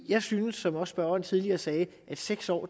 jeg synes som også spørgeren tidligere sagde at seks år